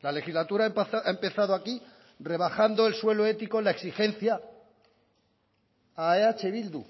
la legislatura ha empezado aquí rebajando el suelo ético la exigencia a eh bildu